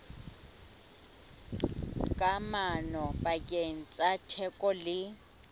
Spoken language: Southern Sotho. kamano pakeng tsa theko le